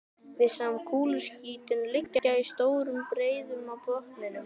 Við sjáum kúluskítinn liggja í stórum breiðum á botninum.